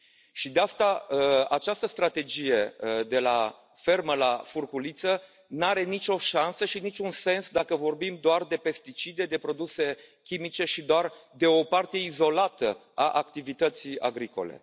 Și, din această cauză, această strategie de la fermă la furculiță nu are nicio șansă și niciun sens dacă vorbim doar de pesticide, de produse chimice și doar de o parte izolată a activității agricole.